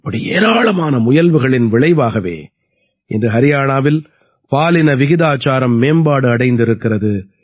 இப்படி ஏராளமான முயல்வுகளின் விளைவாகவே இன்று ஹரியாணாவில் பாலின விகிதாச்சாரம் மேம்பாடு அடைந்திருக்கிறது